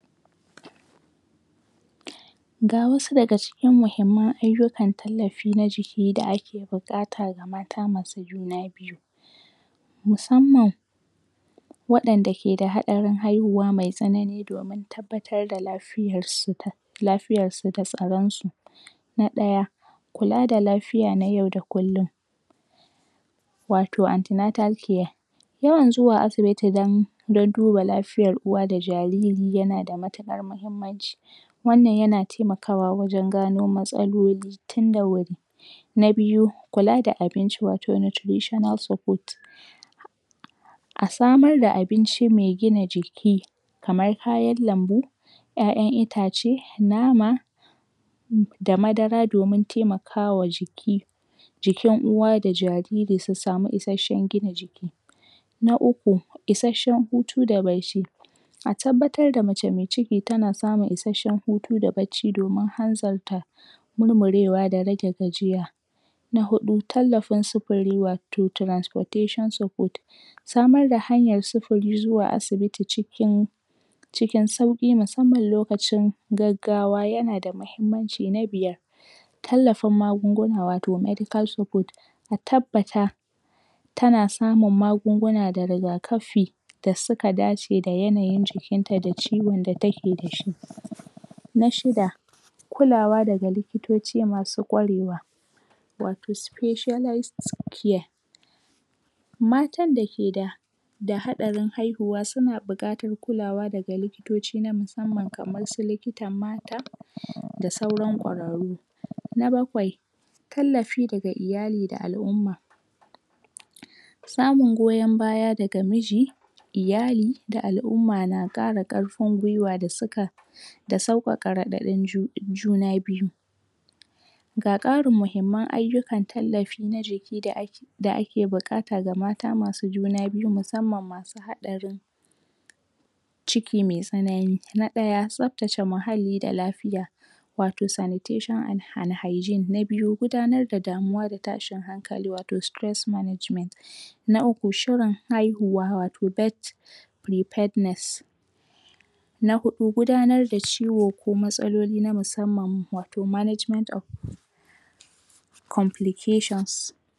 Ga wasu daga cikin muhimman ayukan da tallafi na jiki da ake buƙata ga mata masu juna biyu musamman waɗanda ke da haɗarin haihuwa mai tsanani domin tabbatar da lafiyarsu, lafiyarsu da tsaronsu. Na ɗaya: kula da lafiya na yau da kullum, wato amntenatal care, yawan zuwa asibiti don don duba lafiyar uwa da jariri yana da matuƙar mahimmanci. Wannan yana taimakawa wajen gano matsaloli tunda wuri. Na biyu: Kula da abinci wato nutritional support. A samar da abinci mai gina jiki kamar kayan lambu, 'ya'yan itace, nama, da madara domin taimakawa jiki jikin uwa da jariri su sami isasshen gina jiki Na uku: Isasshen Hutu da Bacci. A tabbatar mace mai ciki tana samun hutu da bacci domin hanzarta murmurewa da rage gajiya. Na huɗu: Tallafin sufuri wato transportation support. Samar da hanyar sufuri zuwa asibiti cikin cikin sauƙi musamman lokacin gaggawa yana da muhimmanci. Na Biyar: Tallafin magunguna wato medical support. A tabbata tana samun magungun da rigakafi da suka dace da yanayin jikinta da ciwon da take da shi. Na shida: Kulawa daga likitoci masu ƙwarewa wato specialist care. Matan da ke da haɗarin haihuwa suna buƙatar kulawa daga likitoci na musamman kamansu likitan mata, da sauran ƙwararru. Na bakwai: tallafi daga iyali da al'umma. Samun goyon baya daga miji, iyali da al'umma na ƙara ƙarfin gwiwa da suka da sauƙaƙa raɗaɗin juna biyu. Ga ƙarin muhimman ayukan tallafi na jiki da ake da ake buƙata ga mata masu juna musamman masu haɗarin ciki mai tsanani. Na ɗaya, tsabtace muhalli da lafiya, wato sanitation and hygiene. Na biyu: Gudanar da da damuwa da atshin hankali wato Stress Management. NA uku, shirin haihuwa wato birth preparedness. Na huɗu,: Gudanar da ciwo ko Matsaloli na musamman, wato management of complications.